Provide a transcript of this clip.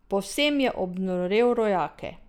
Povsem je obnorel rojake.